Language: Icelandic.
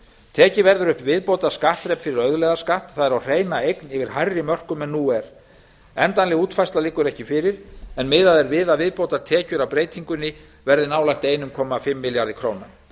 tekið verður upp viðbótarskattþrep fyrir auðlegðarskatt það er á hreina eign yfir hærri mörkum en nú er endanleg útfærsla liggur ekki fyrir en miðað er við að viðbótartekjur af breytingunni verði nálægt einum komma fimm milljörðum króna